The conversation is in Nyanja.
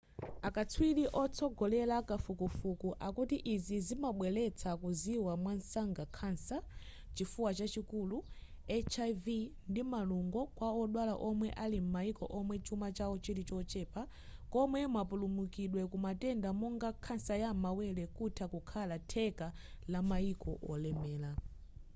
akatswiri otsogolera kafukufuku akuti izi zimabweretsa kuziwa mwansanga khansa chifuwa chachikulu hiv ndi malungo kwa odwala omwe ali m'mayiko omwe chuma chawo chili chochepa komwe mapulumukidwe kumatenda monga khansa ya m'mawere kutha kukhala theka la mayiko olemera